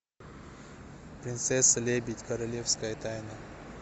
принцесса лебедь королевская тайна